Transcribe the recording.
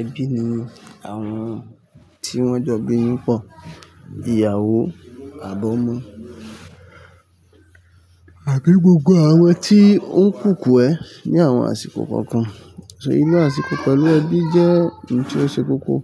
Ẹbí ni àwọn tí wọ́n jọ gbéyìn pọ̀, ìyàwó, àbí ọmọ àti gbogbo àwọn tí ó ń kúkú ẹ ní àwọn àsìkò kọ̀ọ̀kan. Ì lo àsìkò pẹ̀lú ẹbí jẹ́ ohun tí ó ṣe kókó